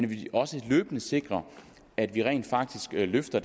vi også løbende sikrer at vi rent faktisk løfter